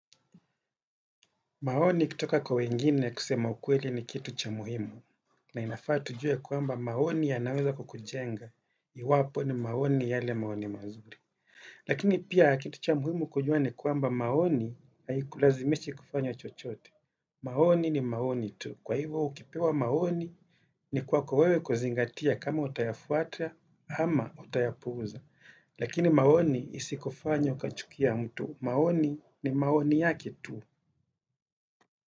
Maoni kutoka kwa wengine kusema ukweli ni kitu cha muhimu, na inafaa tujue kuamba maoni yanaweza kukujenga, iwapo ni maoni yale maoni mazuri. Lakini pia kitu cha muhimu kujua ni kwamba maoni haikulazimishi kufanyo chochote. Maoni ni maoni tu. Kwa hivo ukipewa maoni ni kwako wewe kuzingatia kama utayafuata ama utayapuuza. Lakini maoni isikufanye ukachukia mtu. Maoni ni maoni yake tu.